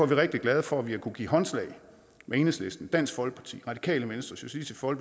vi rigtig glade for at vi har kunnet give håndslag med enhedslisten dansk folkeparti radikale venstre og